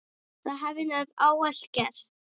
Það hafi hann ávallt gert.